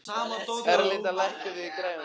Erlinda, lækkaðu í græjunum.